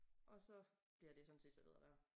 Og så bliver det sådan set serveret dér